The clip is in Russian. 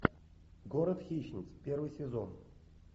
город хищниц первый сезон